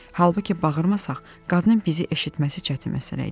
Halbuki bağırmasaq, qadının bizi eşitməsi çətin məsələ idi.